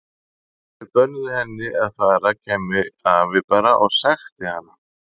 Ef þau bönnuðu henni að fara kæmi afi bara og sækti hana.